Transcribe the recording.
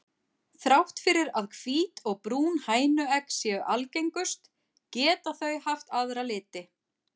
Þrátt fyrir að hvít og brún hænuegg séu algengust geta þau haft aðra liti.